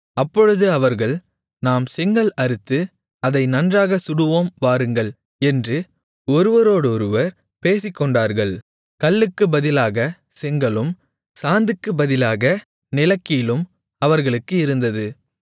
அப்பொழுது அவர்கள் நாம் செங்கல் அறுத்து அதை நன்றாகச் சுடுவோம் வாருங்கள் என்று ஒருவரோடு ஒருவர் பேசிக்கொண்டார்கள் கல்லுக்குப் பதிலாக செங்கலும் சாந்துக்குப் பதிலாக நிலக்கீலும் அவர்களுக்கு இருந்தது